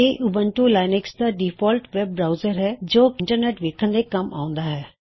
ਇਹ Ubuntu Linux ਦਾ default web browser ਹੈ ਜੋ ਇੰਟਰਨੈਟ ਵੇੱਖਣ ਦੇ ਕੱਮ ਆਉਂਦਾ ਹੈ